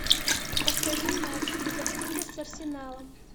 повтори матч ливерпуля с арсеналом